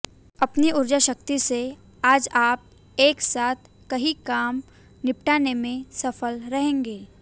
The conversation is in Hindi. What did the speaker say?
अपनी ऊर्जा शक्ति से आज आप एक साथ कई काम निपटाने में सफल रहेंगे